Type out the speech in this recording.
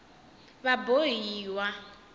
vabohiwa